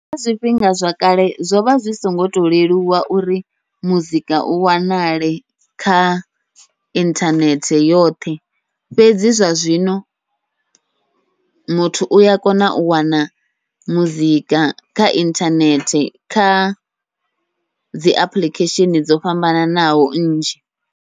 Kha zwifhinga zwa kale zwovha zwi songo to leluwa uri muzika u wanale kha inthanethe yoṱhe, fhedzi zwa zwino muthu uya kona u wana muzika kha inthanethe kha dzi apuḽikhesheni dzo fhambananaho nnzhi.